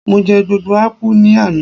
mo je gbogbo apu ni Ana